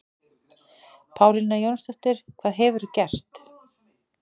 Pálína Jónsdóttir, hvað hefurðu gert?